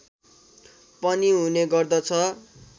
पनि हुने गर्दछ